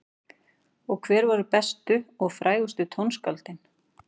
Og hver voru bestu og frægustu tónskáldin?